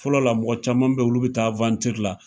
Fɔlɔ la mɔgɔ caman bɛ yen olu bɛ taa la,